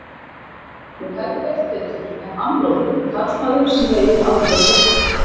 Hún hefði veitt betur en amlóðinn, karlmaður sem veiðir aldrei pöddu.